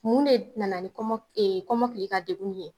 Mun de nana ni kɔnma e kɔmɔkili ka degun ye